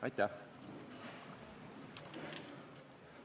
Aitäh!